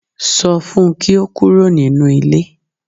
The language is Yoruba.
Sọ fun kí ó kúrò nínú ilé